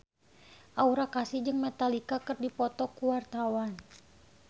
Aura Kasih jeung Metallica keur dipoto ku wartawan